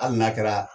Hali n'a kɛra